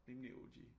Rimelig O G